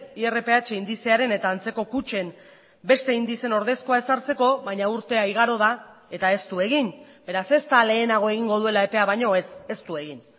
irph indizearen eta antzeko kutxen beste indizeen ordezkoa ezartzeko baina urtea igaro da eta ez du egin beraz ez da lehenago egingo duela epea baino ez ez du egin